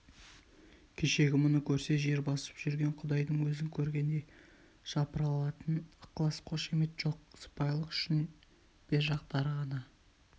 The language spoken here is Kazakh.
кешегі мұны көрсе жер басып жүрген құдайдың өзін көргендей жапырылатын ықылас қошамет жоқ сыпайылық үшін бер жақтары ғана